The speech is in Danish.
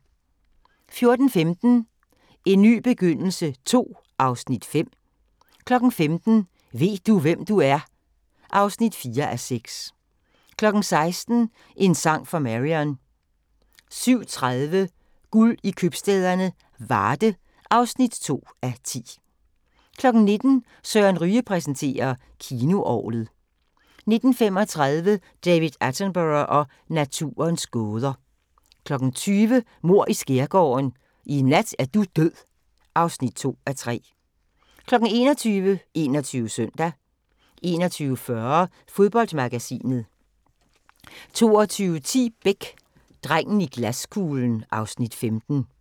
14:15: En ny begyndelse II (Afs. 5) 15:00: Ved du, hvem du er? (4:6) 16:00: En sang for Marion 17:30: Guld i købstæderne - Varde (2:10) 19:00: Søren Ryge præsenterer: Kinoorglet 19:35: David Attenborough og naturens gåder 20:00: Mord i Skærgården: I nat er du død (2:3) 21:00: 21 Søndag 21:40: Fodboldmagasinet 22:10: Beck: Drengen i glaskuglen (Afs. 15)